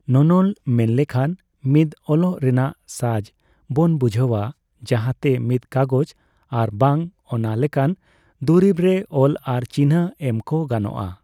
ᱱᱚᱱᱚᱞ ᱢᱮᱱᱞᱮᱠᱷᱟᱱ ᱢᱤᱫ ᱚᱞᱚᱜ ᱨᱮᱱᱟᱜ ᱥᱟᱡ ᱵᱚᱱ ᱵᱩᱡᱷᱟ.ᱣᱼᱟ ᱾ᱡᱟᱦᱟᱸᱛᱮ ᱢᱤᱫ ᱠᱟᱜᱚᱡ ᱟᱨᱵᱟᱝ ᱚᱱᱟᱞᱮᱠᱟᱱ ᱫᱩᱨᱤᱵ ᱨᱮ ᱚᱞ ᱟᱨ ᱪᱤᱱᱷᱟ. ᱮᱢ ᱠᱚ ᱜᱟᱱᱚᱜ ᱟ ᱾